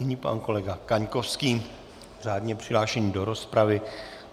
Nyní pan kolega Kaňkovský, řádně přihlášený do rozpravy.